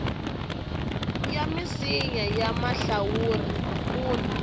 ya misinya ya mahlawuri kun